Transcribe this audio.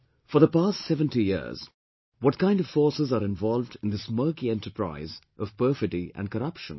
For the past 70 years, what kind of forces are involved in this murky enterprise of perfidy and corruption